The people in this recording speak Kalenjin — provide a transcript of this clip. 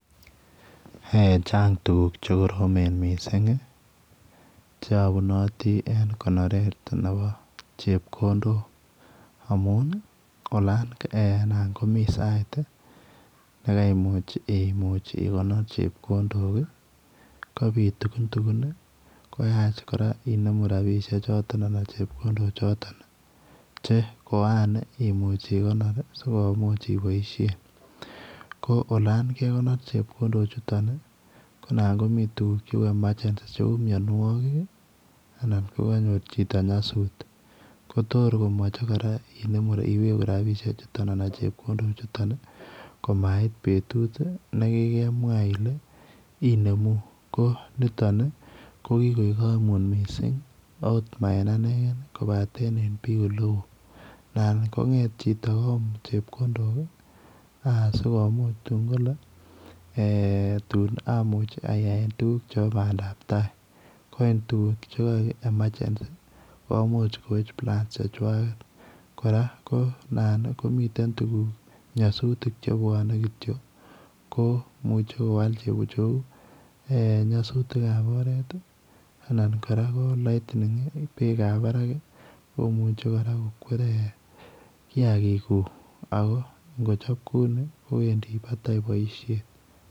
Eeh chaang tuguuk che koromen Missing ii che abunatii en konoret nebo chepkondook amuun olaan anan komii sait ii nekaimuuch imuuch igonor chepkondook ii kobiit tukuntukun ii koyaach kora inemuu rapisheek chotoon anan chepkondook chotoon che koan igonor ii sikomuuch iboisien ko olaan olaan kegonor chepkondook chutoon ko naan komii tuguuk che uu [emergency] che uu uu mianwagik ii anan ko kanyoor chitoo nyasuut ko kotoor koyachei iweguu rapisheek chutoon anan chepkondook chutoon ii ko mait betut ii nekikemwaah Ile inemuu ko nitoon ko kikoek kaimuut missing akooot ma en anegeen kobaaten en biik ole wooh naan ko ngeet chitoo koyuum chepkondook asikongeet ak kole tuun amuuch ayaen tuguuk chebo bandaap tai koit tuguuk che kaeg [emergency ] komuuch koweech [plans] che chwageet kora naan komiteen kora nyasutiik che bwanei kityoi ko imuuchei che uu nyasutiik ab oret ii anan [lightning] beek ab Barak ak kochape kouni kowendii ngweeny boisiet.